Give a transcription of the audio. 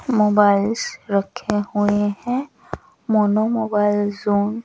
mobiles रखे हुए हैं मोनो मोबाइल जोन --